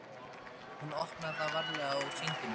Hún opnaði það varlega og sýndi mér.